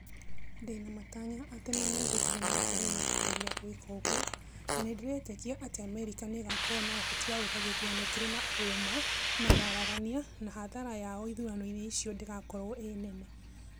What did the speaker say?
Ndĩna matanya atĩ nĩmegũthĩĩ na mbere na kũgerĩa gwĩka ũguo, no nĩndĩretĩkĩa atĩ Amerĩka nĩĩgakorwo na ũhoti wa gwĩka gĩthurano kĩrĩ na ũma na waraganĩa na hathara yao ithurano-inĩ icio ndĩgakorwo ĩ nene